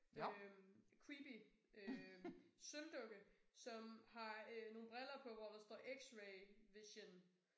Øh creepy øh sølvdukke som har øh nogle briller på hvor der står x-ray vision